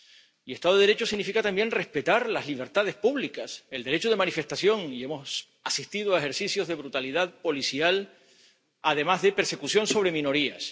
Y Estado de Derecho significa también respetar las libertades públicas, el derecho de manifestación, y hemos asistido a ejercicios de brutalidad policial, además de persecución sobre minorías.